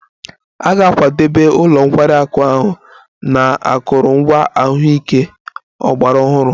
A ga-akwadebe ụlọ nkwari akụ ahụ na akụrụngwa ahụike ọgbara ọhụrụ